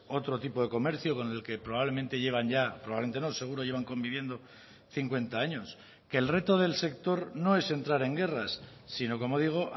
otro tipo de comercio con el que probablemente llevan ya probablemente no seguro llevan conviviendo cincuenta años que el reto del sector no es entrar en guerras sino como digo